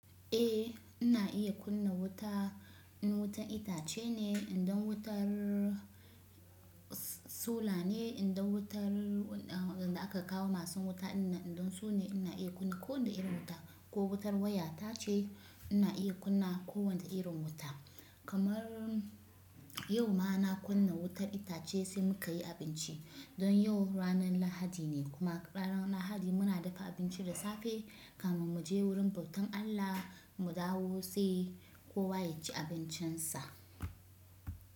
Eh ina iya kunna wuta, in wutar itace ne, idan wutar sola ne, idan wutar da aka kawo masu wuta dinnan idan sune ina iya kunna ko wane irin wuta ko wutar waya tace ina iya kunna ko wane irin wuta. Kamar yau ma na kunna wutar itace sai muka yi abinci. Don yau ranar lahadi ne kuma ranan lahadi muna dafa abinci da safe, kamin mu je wurin bautan Allah mu dawo sai kowa ya ci abincinsa.